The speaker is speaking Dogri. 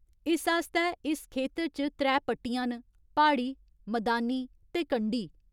इस आस्तै इस खेतर च त्रै पट्टियां न प्हाड़ी, मदानी ते कंढी।